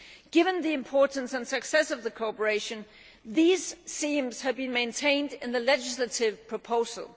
Given the importance and success of this cooperation, these themes have been maintained in the legislative proposal.